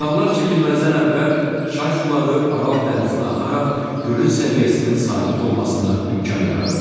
Kanallar çəkilməzdən əvvəl çay suları Aral dənizinə axaraq gölün səviyyəsinin sabit olmasına imkan yaradırdı.